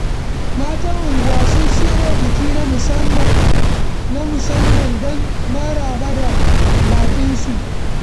Matan unguwa sun shirya biki na musamman don maraba da baƙinsu.